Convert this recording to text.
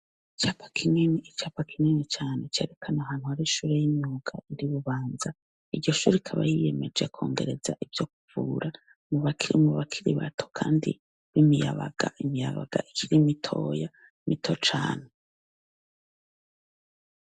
Icapa kinini, icapa kinini cane cerekana ahantu hari ishure y'imyuga iri i Bubanza. Iryo shure rikaba ryiyemeje kwongereza ivyo kuvura mu bakiri bato kandi b'imiyabaga, imiyabaga ikiri mitoya, mito cane.